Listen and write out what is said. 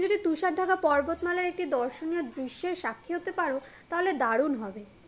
যদি তুষার ঢাকার পর্বত মালার একটি দর্শনীয় দৃশ্যের সাক্ষী হতে পারো তাহেল দারুন হবে